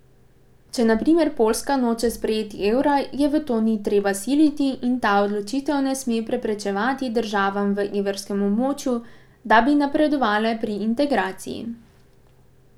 Če na primer Poljska noče sprejeti evra, je v to ni treba siliti in ta odločitev ne sme preprečevati državam v evrskem območju, da bi napredovale pri integraciji.